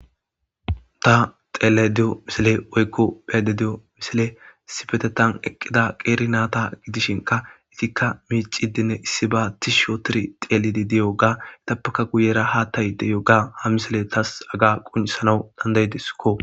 Ta xeelle di7o misile woykko pheede di7o misile sifetetan eqqida qeeri naata gidishinka itikka miicidinne issi ba tish shootor xeelidi diyo ga itappaka guyera haattayi de yoga ha misile taas aga quncsana dandaydiskko.